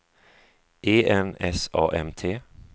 E N S A M T